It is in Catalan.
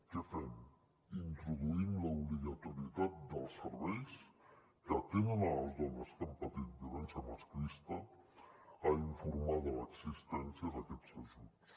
què fem introduïm l’obligatorietat dels serveis que atenen les dones que han patit violència masclista a informar de l’existència d’aquests ajuts